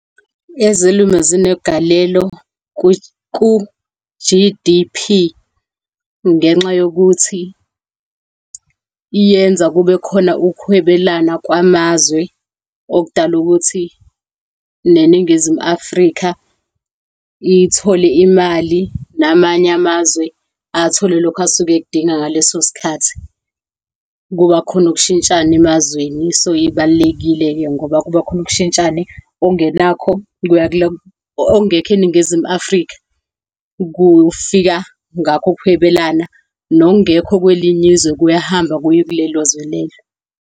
Ezolimo zinegalelo ku-G_D_P ngenxa yokuthi yenza kube khona ukuhwebelana kwamazwe okudala ukuthi neNingizimu Afrika ithole imali, namanye amazwe athole lokho asuke ekudinga ngaleso sikhathi. Kuba khona ukushintshana emazweni, so ibalulekile-ke ngoba kubakhona ukushintshana. Okungekho eNingizimu Afrika, kufika ngakho ukuhwebelana, nokungekho kwelinye izwe kuyahamba kuye kulelo zwe lelo.